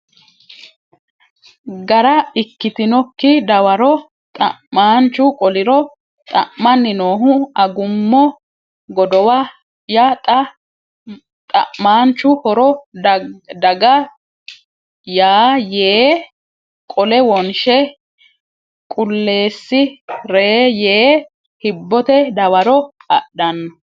gara ikkitinokki dawaro xa maanchu qoliro Xa manni noohu Agummo godowa ya xa mamaanchu Horro daga ya yee qole wonshe qulleessi re yee hibbote dawaro adhanno !